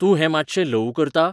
तूं हें मात्शें ल्हवू करता?